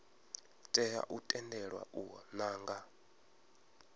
tea u tendelwa u nanga